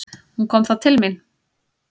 Hún kom til mín.